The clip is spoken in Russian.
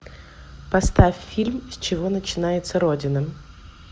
поставь фильм с чего начинается родина